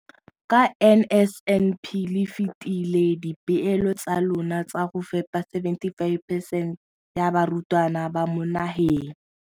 Ka NSNP le fetile dipeelo tsa lona tsa go fepa 75 percent ya barutwana ba mo nageng.